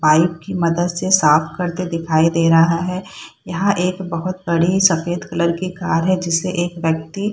Pipe की मदद से साफ करते दिखाई दे रहा है। यहाँ एक बोहोत बड़ी सफ़ेद कलर की कार है जिसे एक व्यक्ती --